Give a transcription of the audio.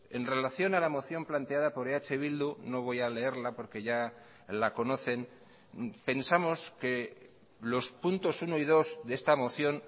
en relación a la moción planteada por eh bildu no voy a leerla porque ya la conocen pensamos que los puntos uno y dos de esta moción